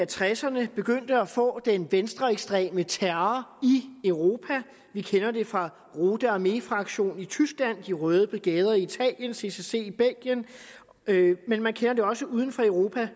tresserne begyndte at få den venstreekstreme terror i europa vi kender det fra rote armee fraktion i tyskland de røde brigader i italien og ccc i belgien men man kender det også uden for europa